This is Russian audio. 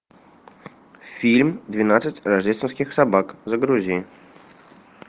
фильм двенадцать рождественских собак загрузи